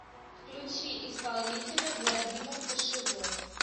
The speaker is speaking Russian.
включи исполнителя владимир кошевой